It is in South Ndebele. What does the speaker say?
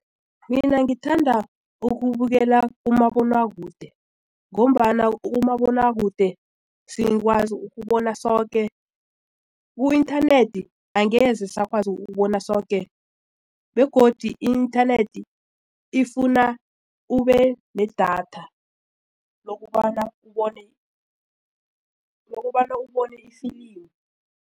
Mina ngithanda ukubukela umabonakude ngombana umabonakude siyakwazi ukubona soke ku-inthanethi angeze sakwazi ukubona soke begodu i-inthanethi ifuna ube nedatha lokobana ubone ifilimu.